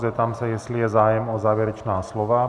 Zeptám se, jestli je zájem o závěrečná slova.